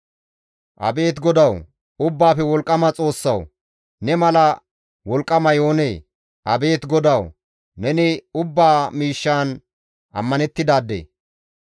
Abeet GODAWU! Ubbaafe Wolqqama Xoossawu! Ne mala wolqqamay oonee? Abeet GODAWU! Neni ubbaa miishshan ammanettidaade.